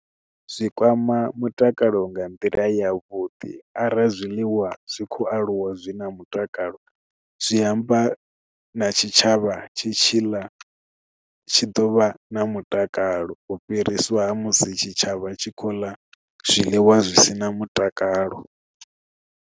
Zwi kwama mutakalo nga nḓila ya vhuḓi arali zwiḽiwa zwi khou aluwa zwi na mutakalo zwi amba na tshitshavha tshi tshiḽa tshi ḓovha na mutakalo u fhiriswa musi tshitshavha tshi khou ḽa zwiḽiwa zwi si na mutakalo.